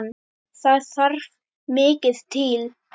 Þar þarf mikið til.